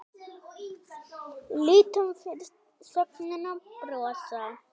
Lítum fyrst á sögnina brosa